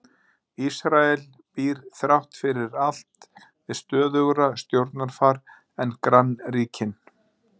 Ísrael býr þrátt fyrir allt við stöðugra stjórnarfar en grannríkin.